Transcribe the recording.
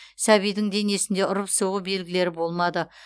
сәбидің денесінде ұрып соғу белгілері болмады